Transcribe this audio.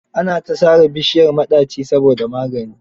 Ana ta sare bishiyar maɗaci saboda magani.